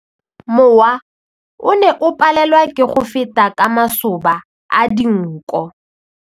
Mowa o ne o palelwa ke go feta ka masoba a dinko.